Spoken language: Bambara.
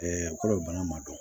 kɔlɔ ma dɔn